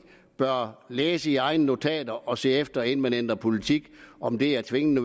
bør læse i egne notater og se efter inden man ændrer politik om det er tvingende